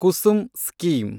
Kusum scheme